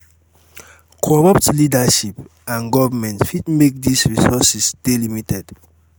corrupt leadership and government fit make these resources de limited